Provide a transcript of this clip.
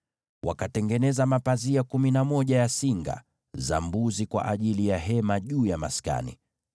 Wakatengeneza mapazia kumi na moja ya singa za mbuzi kwa ajili ya kufunika maskani.